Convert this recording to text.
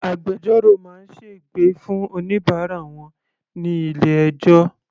Agbẹjọ́rò máa sègbè fún oníbàárà wọn ní ilé ẹjọ́.